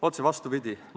Otse vastupidi.